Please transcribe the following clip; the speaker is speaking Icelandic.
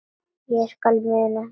Ég skal muna það